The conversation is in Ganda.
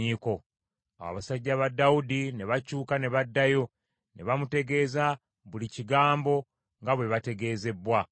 Awo abasajja ba Dawudi ne bakyuka ne baddayo ne bamutegeeza buli kigambo nga bwe bategeezebbwa.